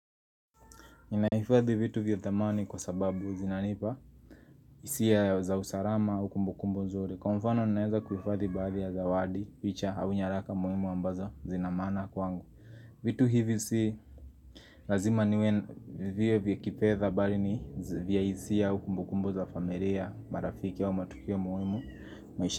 Ninahifadhi vitu vya thamani kwa sababu zinanipa hisia za usarama au kumbukumbu nzuri Kwa mfano ninaeza kuifadhi baadhi ya zawadi, picha au nyaraka muhimu ambazo zina maana kwangu vitu hivi si lazima viwe kifedha bali ni vya hisia au kumbukumbu za familia, marafiki au matukio muhimu.